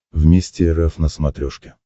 вместе эр эф на смотрешке